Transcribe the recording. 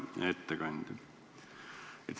Hea ettekandja!